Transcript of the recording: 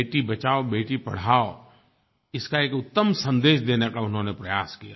बेटी बचाओबेटी पढ़ाओ इसका एक उत्तम सन्देश देने का उन्होंने प्रयास किया